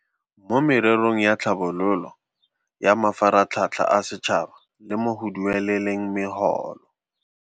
Mo mererong ya tlhabololo, ya mafaratlhatlha a setšhaba le mo go dueleleng megolo.